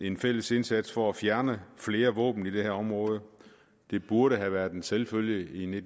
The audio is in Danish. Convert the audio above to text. en fælles indsats for at fjerne flere våben i det her område det burde have været en selvfølge i